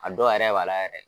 A dɔw yɛrɛ bala yɛrɛ.